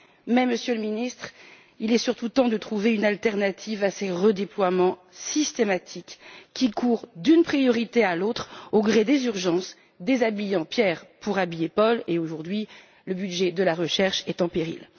Mais, Monsieur le Ministre, il est surtout temps de trouver une autre solution que ces redéploiements systématiques qui courent d'une priorité à l'autre au gré des urgences, déshabillant Pierre pour habiller Paul, car aujourd'hui, le budget de la recherche est en péril.